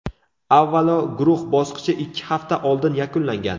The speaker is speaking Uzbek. Avvalo, guruh bosqichi ikki hafta oldin yakunlangan.